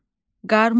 Qarmon.